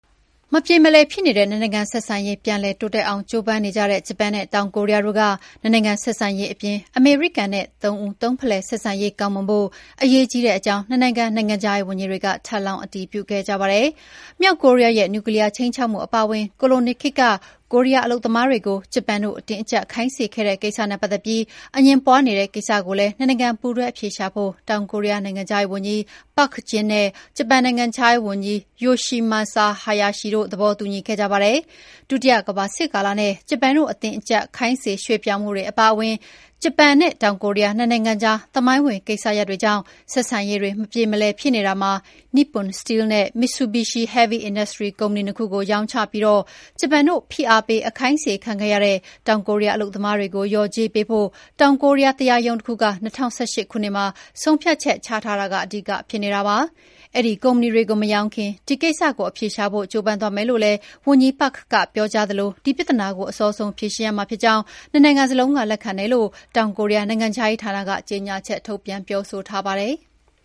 မပြေမလည်ဖြစ်နေတဲ့ နှစ်နိုင်ငံဆက်ဆံရေး ပြန်လည်တိုးတက်အောင် ကျိုးပမ်းနေကြတဲ့ ဂျပန်နဲ့ တောင်ကိုရီးယားတို့က နှစ်နိုင်ငံဆက်ဆံရေး အပြင် အမေရိကန်နဲ့ သုံးဦးသုံးဖလှယ် ဆက်ဆံရေး ကောင်းမွန်ဖို့ အရေးကြီးကြောင်း နှစ်နိုင်ငံ နိုင်ငံခြားရေးဝန်ကြီးတွေက ထပ်လောင်းအတည်ပြုခဲ့ကြပါတယ်။ မြောက်ကိုရီးယားရဲ့နျူကလီးယားခြိမ်းချောက်မှုအပါအဝင် ကိုလိုနီခေတ်က ကိုရီးယားအလုပ်သမားတွေကို ဂျပန်တို့ အတင်းအကြပ်ခိုင်းစေခဲ့တဲ့ကိစ္စနဲ့ပတ်သက်ပြီး အငြင်းပွါးနေတဲ့ကိစ္စကိုလည်း နှစ်နိုင်ငံ ပူးတွဲအဖြေရှာဖို့ တောင်ကိုရီးယားနိုင်ငံခြားရေးဝန်ကြီး Park Jin နဲ့ ဂျပန်နိုင်ငံခြားရေးဝန်ကြီး Yoshimasa Hayashi တို့ သဘောတူညီခဲ့ကြပါတယ်။ ဒုတိယကမ္ဘာစစ်ကာလနဲ့ ဂျပန်တို့ရဲ့ အတင်းအကြပ် ခိုင်းစေ ရွှေ့ပြောင်းမှုတွေ အပါအဝင် ဂျပန်နဲ့ တောင်ကိုရီးယား နှစ်နိုင်ငံကြားသမိုင်းဝင်ကိစ္စရပ်တွေကြောင့် ဆက်ဆံရေးတွေမပြေမလည်ဖြစ်နေတာမှာ Nippon Steel နဲ့ Mitsubishi Heavy Industries ဂျပန်ကုမ္ပဏီ ၂ ခုကိုရောင်းချပြီး ဂျပန်တို့ဖိအားပေး အခိုင်းစေခံခဲ့ရတဲ့ တောင်ကိုရီးယား အလုပ်သမားတွေကို လျော်ကြေးပေးဖို့ တောင်ကိုရီးယားတရားရုံးတခုက ၂၀၁၈ ခုနှစ်မှာ ဆုံးဖြတ်ချက်ချထားတာက အဓိကဖြစ်နေတာပါ။ အဲဒီကုမ္ပဏီတွေကို မရောင်းခင် ဒီကိစ္စကို အဖြေရှာဖို့ ကျိုးပမ်းသွားမယ်လို့လည်း ဝန်ကြီး Park က ပြောကြားသလို ဒီပြဿနာကို အစောဆုံး ဖြေရှင်းရမှာ ဖြစ်ကြောင်း ၂ နိုင်ငံစလုံးက လက်ခံတယ်လို့ တောင်ကိုရီးယားနိုင်ငံခြားရေးဌာနက ကြေညာချက်ထုတ်ပြန်ပြောဆိုပါတယ်။